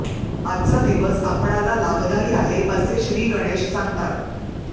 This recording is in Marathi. आजचा दिवस आपणाला लाभदायी आहे असे श्रीगणेश सांगतात